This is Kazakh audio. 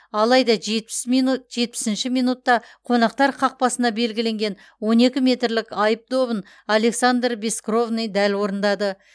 алайда жетпіс минут жетпісінші минутта қонақтар қақпасына белгіленген он екі метрлік айып добын александр бескровный дәл орындады